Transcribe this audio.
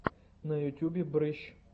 на ютубе брыщ